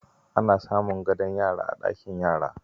Ana samun gadon yara a ɗakin yara.